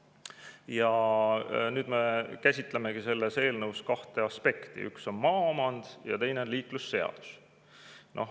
Ja nüüd me käsitlemegi selles eelnõus kahte aspekti: üks on maaomand ja teine on liiklusseadus.